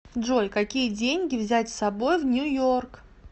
джой какие деньги взять с собой в нью йорк